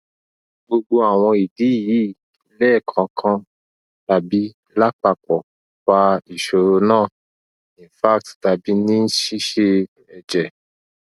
gbogbo awon idi yi lekankan tabi lapapo fa isoro na infarct tabi ni sise eje